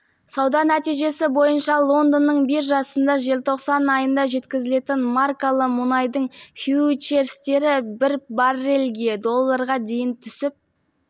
сауда нәтижесі бойынша лондонның биржасында желтоқсан айында жеткізілетін маркалы мұнайдың фьючерстері бір баррельге долларға дейін түсіп